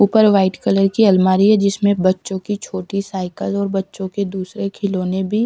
ऊपर white colour की अलमारी है जिसमें बच्चों की छोटी साइकिल और बच्चों के दूसरे खिलौने भी--